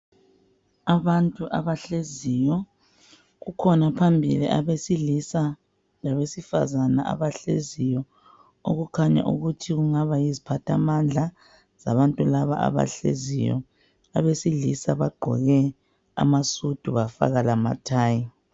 Abantu abahleziyo kukhona phambili abesilisa labesifazane abahleziyo okukhanya ukuthi kungaba yiziphathamandla labantu laba abahleziyo, abesilisa bagqoke amasudu bafaka lamathayi.